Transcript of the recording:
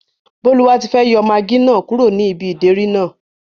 Bólúwatifẹ́ yọ magí náà kúrò ní ibi ìdérí náà